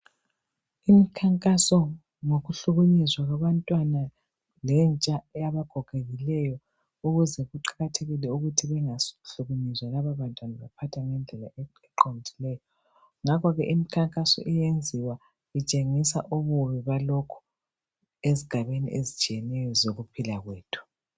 Imikhankaso ngokuhlukunyezwa kwabantwana lentsha yabagogekileyo ukuze kuqakathekile ukuthi bengahlukunyezwa lalabantwana baphathwe ngendlela eqondileyo ngakhoke emkhankaso iyenziwa itshengisa ububi balokhu ezigabeni ezitshiyeneyo zokuphila kwethu